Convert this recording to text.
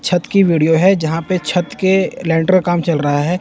छत की वीडियो है जहां पे छत के लेंटर का काम चल रहा है।